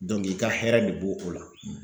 i ka hɛrɛ de b'o o la